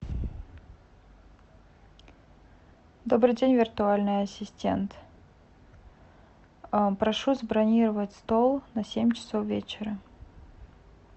добрый день виртуальный ассистент прошу забронировать стол на семь часов вечера